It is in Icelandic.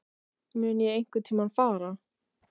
Mun ég einhverntímann fara?